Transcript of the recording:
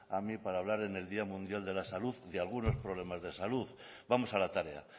a mí para hablar en el día mundial de la salud de algunos problemas de salud vamos a la tarea